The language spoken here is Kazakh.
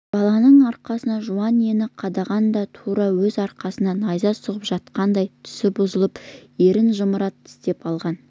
баланың арқасына жуан инені қадағанда тура өз арқасына найза сұғып жатқандай түсі бұзылып ернін жымқыра тістеп алған